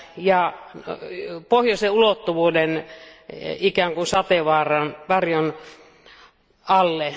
ja Pohjoisen ulottuvuuden ikään kuin sateenvarjon alle.